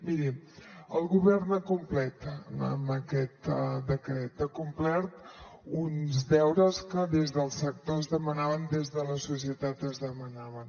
miri el govern ha complert amb aquest decret ha complert uns deures que des del sector es demanaven des de la societat es demanaven